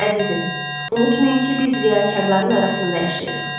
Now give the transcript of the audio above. Əzizim, unutmayın ki, biz riyakarların arasında yaşayırıq.